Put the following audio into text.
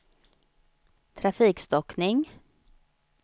trafikstockning